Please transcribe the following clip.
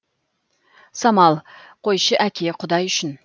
самал қойшы әке құдай үшін